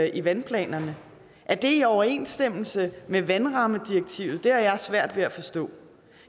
i vandplanerne er det i overensstemmelse med vandrammedirektivet det har jeg svært ved at forstå